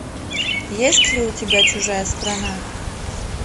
есть ли у тебя чужая страна